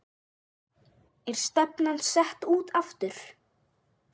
Er stefnan sett út aftur?